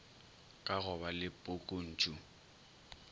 ka go ba le pukuntšu